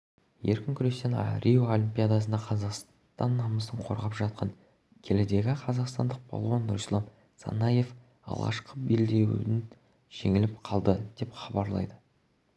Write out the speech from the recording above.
еркін күрестен рио олимпиадасында қазақстан намысын қорғап жатқан келідегі қазақстандық балуан нұрислам санаев алғашқы белдесуінде жеңіліп қалды деп хабарлайды